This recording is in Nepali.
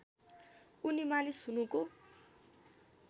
उनी मानिस हुनुको